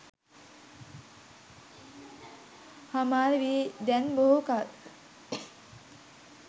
හමාර වී දැන් බොහෝ කල්